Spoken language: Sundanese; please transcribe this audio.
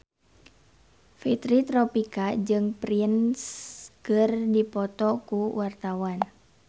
Fitri Tropika jeung Prince keur dipoto ku wartawan